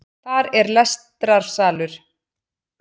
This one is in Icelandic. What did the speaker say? Þar er lestrarsalur